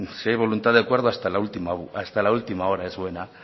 bueno si hay voluntad de acuerdo hasta la última hora es buena